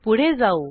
पुढे जाऊ